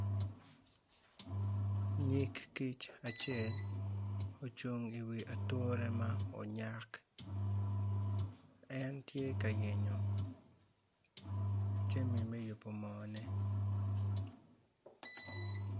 Nyig kic acel ocung i wi ature ma onyak en tye ka yenyo jami me yubo moone.